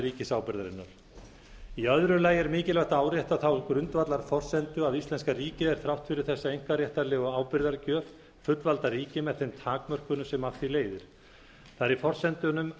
ríkisábyrgðarinnar í öðru lagi er mikilvægt að árétta þá grundvallarforsendu að íslenska ríkið er þrátt fyrir þessa einkaréttarlegu ábyrgðargjöf fullvalda ríki með þeim takmörkunum sem af því leiðir þá er í forsendunum